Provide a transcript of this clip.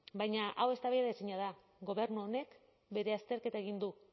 baina hau eztabaidaezina da gobernu honek bere azterketa egin du